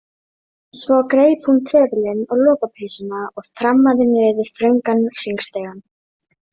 Svo greip hún trefilinn og lopapeysuna og þrammaði niður þröngan hringstigann.